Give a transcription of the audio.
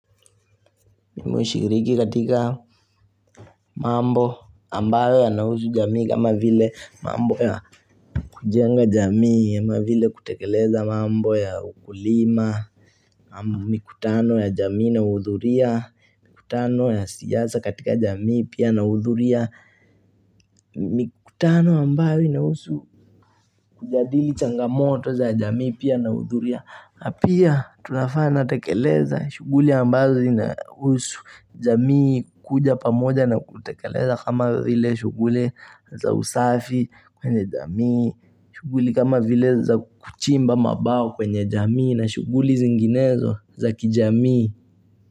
Mimi hushiriki katika mambo ambayo yanahusu jamii kama vile mambo ya kujenga jamii ama vile kutekeleza mambo ya ukulima ama mikutano ya jamii na huhudhuria mikutano ya siasa katika jamii pia na uhudhuria Mikutano ambayo inahusu kujadili changamoto za jamii pia na huhudhuria na pia tunafaa natekeleza shughuli ambazo inahusu jamii kuja pamoja na kutekeleza kama vile shughuli za usafi kwenye jamii shughuli kama vile za kuchimba mabawa kwenye jamii na shughuli zinginezo za kijamii.